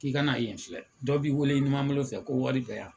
K'i kana yen filɛ dɔ b'i wele ɲumanbolo fɛ ko wari bɛ yan.